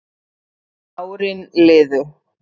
Árin liðu